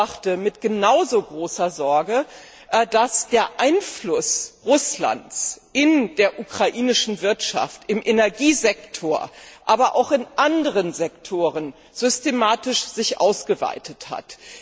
Ich beobachte mit genau so großer Sorge, dass sich der Einfluss Russlands in der ukrainischen Wirtschaft, im Energiesektor, aber auch in anderen Sektoren systematisch ausgeweitet hat.